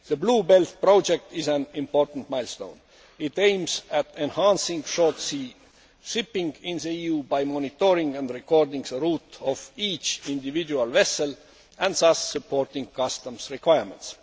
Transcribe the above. The Blue Belt project is an important milestone. It aims at enhancing Short Sea Shipping in the EU by monitoring and recording the route of each individual vessel and thus supporting customs requirements.